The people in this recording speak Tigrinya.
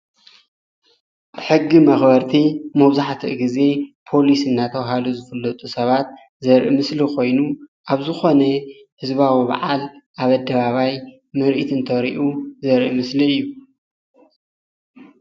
ሕጊ መክበርቲ መብዛሕትኡ ግዜ ፖሊስ እናተባሃሉ ዝፍለጡ ሰባት ዘርኢ ምስሊ ኮይኑ ኣብ ዝኮነ ህዝባዊ በዓል ኣብ ኣደባባይ ምርኢት እንተርእዩ ዘርኢ ምስሊ እዩ፡፡